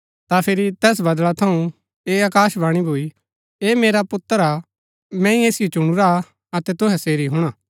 ता फिरी तैस बदळा थऊँ ऐह आकाशवाणी भूई ऐह मेरा पुत्र हा मैंई ऐसिओ चुणुरा हा अतै तुहै सेरी हुणा